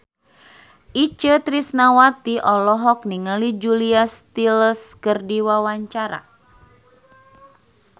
Itje Tresnawati olohok ningali Julia Stiles keur diwawancara